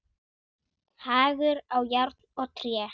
Hagur á járn og tré.